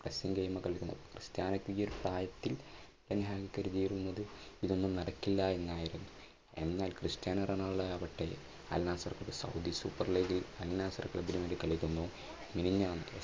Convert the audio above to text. game കളിക്കുന്നു. ക്രിസ്റ്റാനോയിക്ക് ഈ ഒരു പ്രായത്തിൽ ഇതൊന്നും നടക്കില്ല എന്നായിരുന്നു എന്നാൽ ക്രിസ്റ്റാനോ റൊണാൾഡോ ആവട്ടെ മിനിഞ്ഞാന്ന്